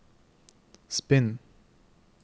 spinn